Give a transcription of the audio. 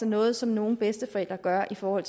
noget som nogle bedsteforældre gør i forhold